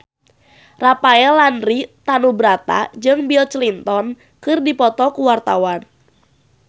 Rafael Landry Tanubrata jeung Bill Clinton keur dipoto ku wartawan